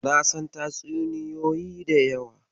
Na san tatsuniyoyi da yawa